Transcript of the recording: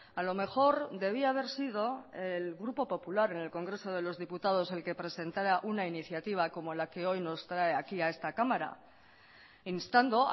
a lo mejor debía haber sido el grupo popular en el congreso de los diputados el que presentara una iniciativa como la que hoy nos trae aquí a esta cámara instando